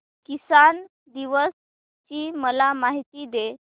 किसान दिवस ची मला माहिती दे